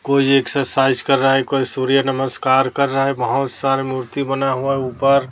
कोई एक्सरसाइज कर रहा है कोई सूर्य नमस्कार कर रहा है बहोत सारे मूर्ति बना हुआ है ऊपर--